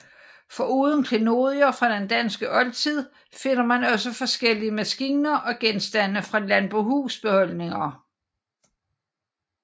Foruden klenodier fra den danske oldtid finder man også forskellige maskiner og genstande fra landbohusholdninger